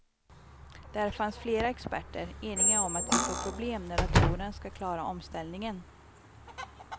Där fanns flera experter, eniga om att vi får problem när datorerna ska klara omställningen.